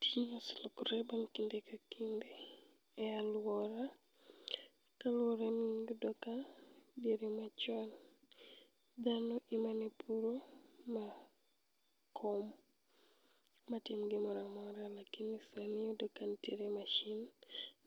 Tijni oselokore bang' kinde ka kinde e alwora, toore niyudoka diere machon dhano emanepuro ma kom matim gimoramora lakini sani iyudo kanitiere masin